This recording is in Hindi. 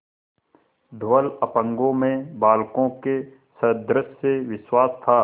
धवल अपांगों में बालकों के सदृश विश्वास था